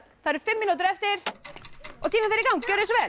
það eru fimm mínútur eftir og tíminn fer í gang gjörið svo vel